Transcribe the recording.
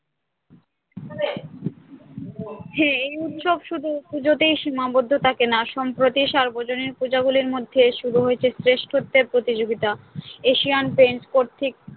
হ্যাঁ এই উৎসব শুধু পুজোতেই সীমাবদ্ধ থাকে না সম্প্রতি সার্বজনীন পূজা গুলির মধ্যে শুরু হয়েছে শ্রেষ্ঠত্বের প্রতিযোগিতা এশিয়ান পেন্টস কর্তৃ